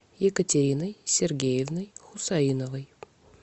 екатериной сергеевной хусаиновой